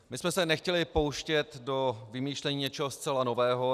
My jsme se nechtěli pouštět do vymýšlení něčeho zcela nového.